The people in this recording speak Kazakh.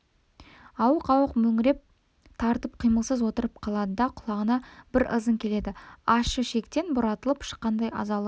ауық-ауық мөңіреу тартып қимылсыз отырып қалады құлағына бір ызың келеді ащы шектен бұратылып шыққандай азалы үн